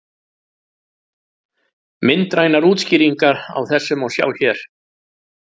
Myndrænar útskýringar á þessu má sjá hér.